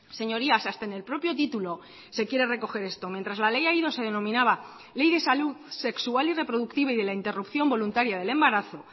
señorías hasta en el propio título se quiere recoger esto mientras la ley aído se denominaba ley de salud sexual y reproductiva y de la interrupción voluntaria del embarazo